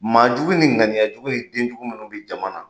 Maajugu ni ŋaniyajugu ni denjugu minnu bi jama na.